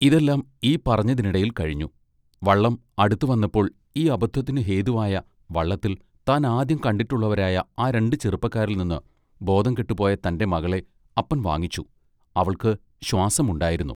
ഇതെല്ലാം ഈ പറഞ്ഞതിനിടയിൽ കഴിഞ്ഞു വള്ളം അടുത്തു വന്നപ്പോൾ ഈ അബദ്ധത്തിനു ഹേതുവായ വള്ളത്തിൽ താൻ ആദ്യം കണ്ടിട്ടുള്ളവരായ ആ രണ്ട് ചെറുപ്പക്കാരിൽനിന്ന് ബോധം കെട്ടുപോയ തന്റെ മകളെ അപ്പൻ വാങ്ങിച്ചു അവൾക്ക് ശ്വാസം ഉണ്ടായിരുന്നു.